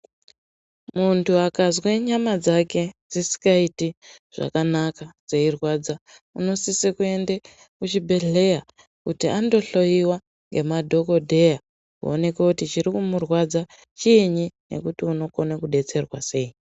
Muntu akazwe nyama dzake dzisikaiti zvakanaka dzeirwadza unosise kuende kuchibhedhlera kuti andohloyiwa ngemadhokodheya kuonekwe kuti chiri kumurwadza chiinyi nekuti unokone kudetserwa sei.